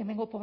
hemengo